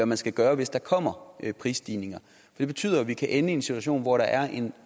man skal gøre hvis der kommer prisstigninger det betyder at vi kan ende i en situation hvor der er en